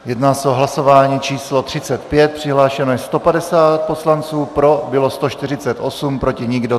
Jedná se o hlasování číslo 35, přihlášeno je 150 poslanců, pro bylo 148, proti nikdo.